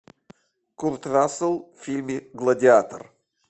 курт рассел в фильме гладиатор